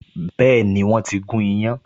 Been, wọ́n ti gún iyán